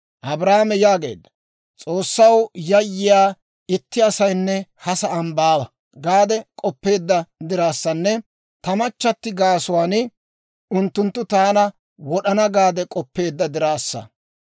Abrahaame yaageedda; « ‹S'oossaw yayyiyaa itti asaynne ha sa'aan baawa› gaade k'oppeedda diraassanne, ‹Ta machchatti gaasuwaan unttunttu taana wod'ana› gaade k'oppeedda diraassa.